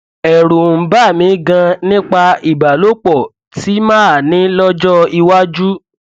ẹrù ń bà mí ganan nípa ìbálòpọ tí màá ní lọjọ iwájú